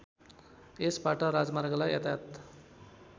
यसबाट राजमार्गलाई यातायात